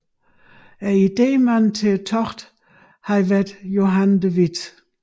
Idémanden til togtet havde været Johan de Witt